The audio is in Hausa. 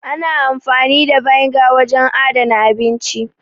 Ana amfani da vinegar wajen adana abinci.